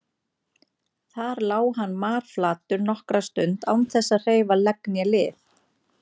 Þar lá hann marflatur nokkra stund án þess að hreyfa legg né lið.